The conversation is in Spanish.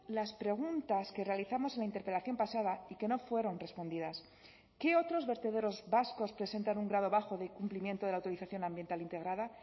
las preguntas que realizamos en la interpelación pasada y que no fueron respondidas qué otros vertederos vascos presentan un grado bajo de cumplimiento de la autorización ambiental integrada